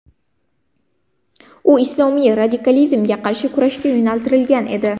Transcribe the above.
U islomiy radikalizmga qarshi kurashga yo‘naltirilgan edi.